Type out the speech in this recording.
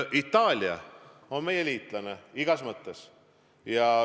Itaalia on meie liitlane igas mõttes.